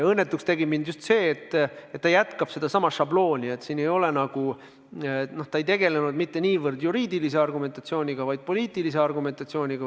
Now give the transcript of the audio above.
Õnnetuks tegi mind just see, et ta kasutab sedasama šablooni: ta ei tegelenud mitte niivõrd juriidilise argumentatsiooniga, kuivõrd poliitilise argumentatsiooniga.